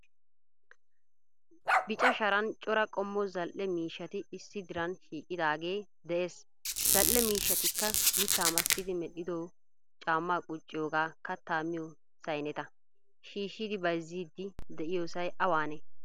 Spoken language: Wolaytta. Bica sharan cora qomo zal'ee miishshaati issi diran shiiqidaage de'ees. Zal'ee miishshaatikka mitta massidi medhdhido caama quucciyooga kaatta miyo sayineeta. Shiishidi baayizzidi de'iyoosay awaane?